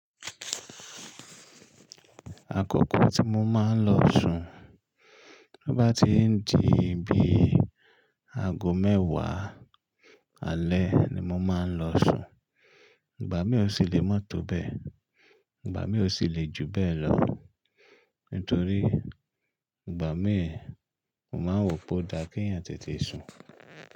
Àkọ́kọ́ tí mo máa ń lọ sùn, to bá ti ń di bí aago mẹ́wàá alẹ́ ni mo máa ń lọ sùn. Ìgbà mí ò sì lè mọ́tọ̀ bẹ́ẹ̀, ìgbà mí ò sì lè ju bẹ́ẹ̀ lọ, nítorí ìgbà mí mò máa ń wò pé ó dá k èeyàn tètè sùn.